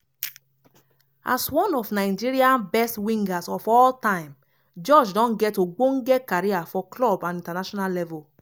as one of nigeria best wingers of all time george don get ogbonge career for club and international level.